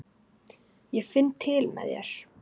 Ég finn til með þér.